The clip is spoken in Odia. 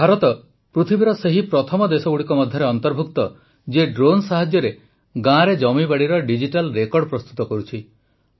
ଭାରତ ପୃଥିବୀର ସେହି ପ୍ରଥମ ଦେଶଗୁଡ଼ିକ ମଧ୍ୟରେ ଅନ୍ତର୍ଭୁକ୍ତ ଯିଏ ଡ୍ରୋନ୍ ସାହାଯ୍ୟରେ ଗାଁରେ ଜମବାଡ଼ିର ଡିଜିଟାଲ୍ ରେକର୍ଡ ପ୍ରସ୍ତୁତ କରୁଛି